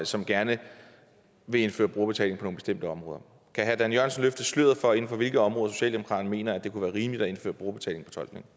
som gerne vil indføre brugerbetaling på nogle bestemte områder kan herre dan jørgensen løfte sløret for inden for hvilke områder socialdemokratiet mener at det kunne være rimeligt at indføre brugerbetaling